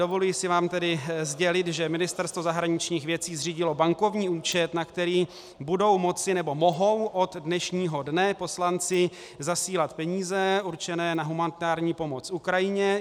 Dovoluji si vám tedy sdělit, že Ministerstvo zahraničních věcí zřídilo bankovní účet, na který budou moci nebo mohou od dnešního dne poslanci zasílat peníze určené na humanitární pomoc Ukrajině.